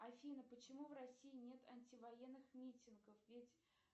афина почему в россии нет антивоенных митингов ведь